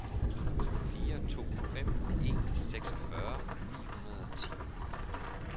fire to fem en seksogfyrre ni hundrede og ti